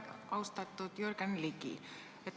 Austatud Jürgen Ligi!